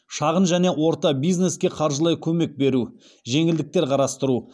шағын және орта бизнеске қаржылай көмек беру жеңілдіктер қарастыру